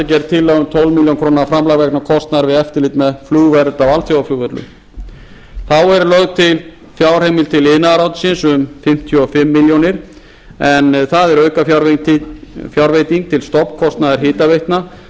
gerð tillaga um tólf milljónir króna framlag vegna kostnaðar við eftirlit með flugvernd á alþjóðaflugvöllum þá er lögð til fjárheimild til iðnaðarráðuneytisins um fimmtíu og fimm milljónir en það er aukafjárveiting til stofnkostnaðar hitaveitna